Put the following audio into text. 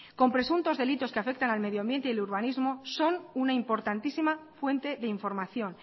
con presuntos delitos que afectan al medio ambiente y el urbanismo son una importantísima fuente de información